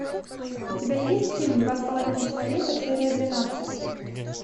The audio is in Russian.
у тебя есть фильм два с половиной человека серия двенадцать